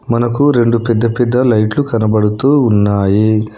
మనకు రెండు పెద్ద పెద్ద లైట్లు కనబడుతూ ఉన్నాయి